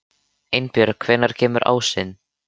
Einbjörg, hvenær kemur ásinn?